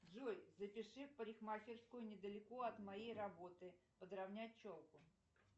джой запиши в парикмахерскую недалеко от моей работы подравнять челку